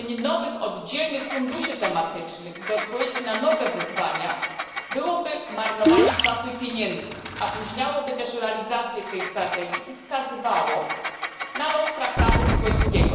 Tworzenie nowych oddzielnych funduszy tematycznych, by odpowiedzieć na nowe wyzwania, byłoby marnowaniem czasu i pieniędzy, opóźniałoby także realizację tej strategii i skazywałoby ją na los traktatu lizbońskiego.